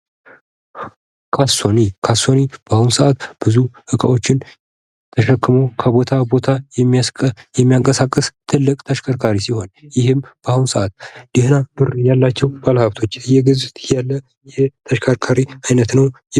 መጓጓዣ ሰዎችና እቃዎች ከአንድ ቦታ ወደ ሌላ ቦታ የሚንቀሳቀሱበት ዘዴ ነው። ተሽከርካሪዎች ደግሞ ይህንን እንቅስቃሴ የሚያከናውኑ መሳሪያዎች ናቸው